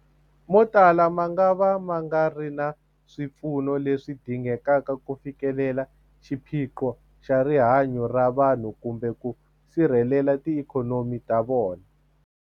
Motala mangava ma nga ri na swipfuno leswi dingekaka ku fikelela xiphiqo xa rihanyu ra vanhu kumbe ku sirhelela tiikhonomi ta vona.